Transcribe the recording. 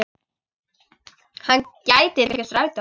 Hann gæti tekið strætó.